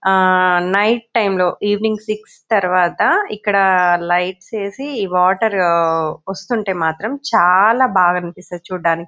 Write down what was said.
ఆ night time లో evening six తర్వాత ఇక్కడ లైట్లు వేసి ఆఆ వాటరు ఆ వస్తుంటే మాత్రం చాలా బాగా అనిపిస్తది చూడ్డానికి.